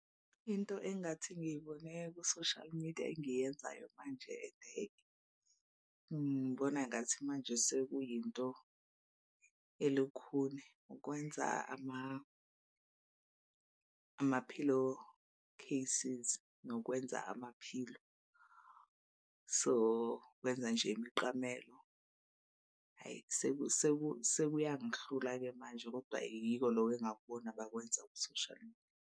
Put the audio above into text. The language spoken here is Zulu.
Into engingathi ngiyibone ku-social media engiyenzayo manje ende ngibona ngathi manje sekuyinto elukhuni ukwenza amaphilo cases nokwenza amaphilo. So kwenza nje imiqamelo hhayi sekuyangihlula-ke manje kodwa yiko loko engakubona bakwenza ku-social media.